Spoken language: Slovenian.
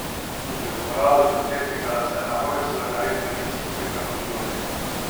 Tudi v uradu predsednika se na Hojsove navedbe niso posebej odzivali.